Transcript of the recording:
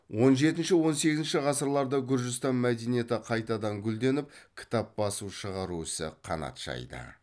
он жетінші он сегізінші ғасырларда гүржістан мәдениеті қайтадан гүлденіп кітап басып шығару ісі қанат жайды